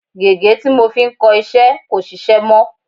Gègé tí mo fi ń kọ iṣẹ́ kò sisẹ́ mọ́.